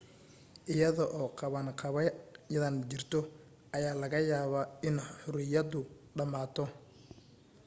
iyada oo qabanqaabadan jirto, ayaa laga yaabaa in xorriyadu dhammaato